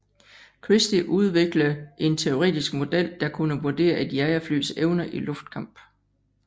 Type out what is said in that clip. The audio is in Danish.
Christie udvikle en teoretisk model der kunne vurdere et jagerflys evner i luftkamp